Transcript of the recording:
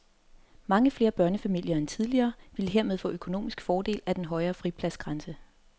Mange flere børnefamilier end tidligere ville hermed få økonomisk fordel af den højere fripladsgrænse.